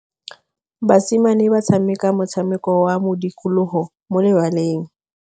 Basimane ba tshameka motshameko wa modikologô mo lebaleng.